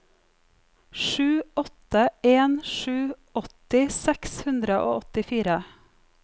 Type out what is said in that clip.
sju åtte en sju åtti seks hundre og åttifire